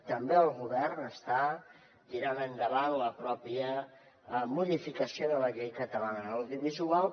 també el govern està tirant endavant la pròpia modificació de la llei catalana de l’audiovisual